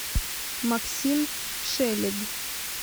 максим шелег